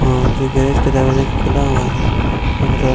और जो गैरेज का दरवाज़ा खुला हुआ है दोनो तरफ --